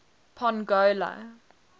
pongola